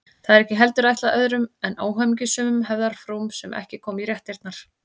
Það er ekki heldur ætlað öðrum en óhamingjusömum hefðarfrúm sem ekki koma í réttirnar.